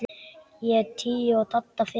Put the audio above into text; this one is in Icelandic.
Ég tíu og Dadda fimm.